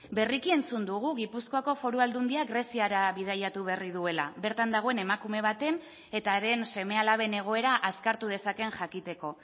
berriki entzun dugu gipuzkoako foru aldundiak greziara bidaiatu berri duela bertan dagoen emakume baten eta haren seme alaben egoera azkartu dezaken jakiteko